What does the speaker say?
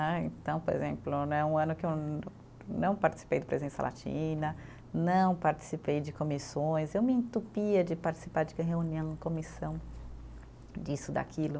Né, então, por exemplo né, um ano que eu não participei do presença latina, não participei de comissões, eu me entupia de participar de reunião, comissão, disso, daquilo.